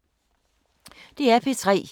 DR P3